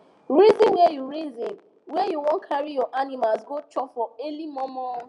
reason where u reason where u wan carry your animals go chop for early mor mor